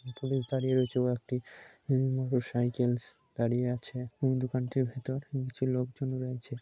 Police দাঁড়িয়ে রয়েছে এবং একটি মোটর সাইকেলস দাঁড়িয়ে আছে। দোকানটির ভেতর কিছু লোক জন রয়েছে।